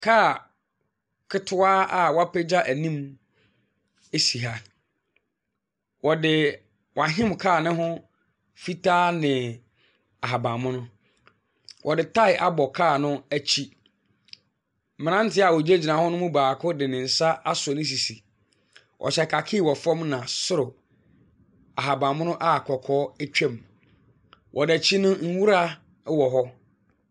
Kaa ketewa a wɔapagya anim si ha. Wɔde wɔahim kaa no ho fitaa ne ahaban mono. Wɔde tire abɔ kaa no akyi. Mmeranteɛ a wɔgyinagyina hɔ no mu baako de ne nsa asɔ ne sisi. Ɔhyɛ kakii wɔ fam na soro ahaban mono a kɔkɔɔ twam. Wɔ n'akyi no, nwura wɔ hɔ.